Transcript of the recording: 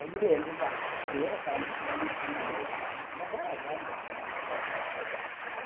Eu me lembro da freira, que era muito bonitinha mesmo, mas elas eram muito bonitas.